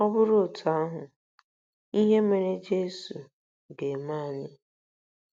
Ọ bụrụ otú ahụ, ihe mere Jesu ga-eme anyị.